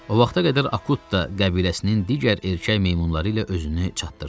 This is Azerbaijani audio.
O vaxta qədər Akut da qəbiləsinin digər erkək meymunları ilə özünü çatdırdı.